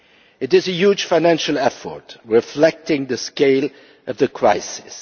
It is a huge financial effort, reflecting the scale of the crisis.